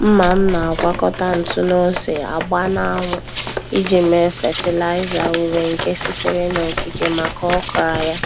Mma m na-agwakọta ntụ na ose agba na-anwu iji mee fatịlaịza ure nke sitere n' okike maka okra ya.